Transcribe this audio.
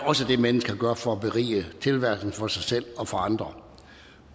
også det mennesker gør for at berige tilværelsen for sig selv og for andre